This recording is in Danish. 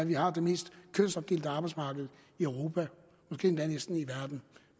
vi har det mest kønsopdelte arbejdsmarked i europa måske næsten endda i verden